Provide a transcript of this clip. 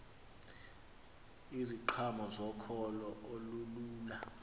iziqhamo zokholo olululo